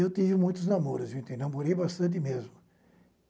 Eu tive muitos namoros, eu namorei bastante mesmo.